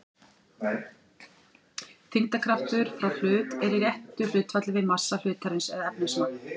Þyngdarkraftur frá hlut er í réttu hlutfalli við massa hlutarins eða efnismagn.